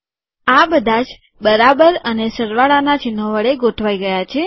આ બધાજ બરાબર અને સરવાળાના ચિહ્નો હવે ગોઠવાઈ ગયા છે